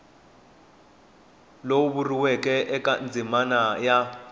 lowu vuriweke eka ndzimana a